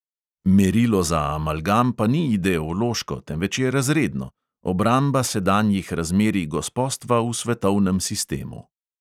Merilo za amalgam pa ni ideološko, temveč je razredno: obramba sedanjih razmerij gospostva v svetovnem sistemu.